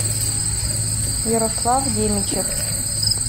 ярослав демичев